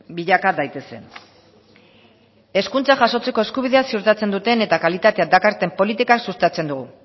bilaka daitezen hezkuntza jasotzeko eskubidea ziurtatzen duten eta kalitatea dakarten politika sustatzen dugu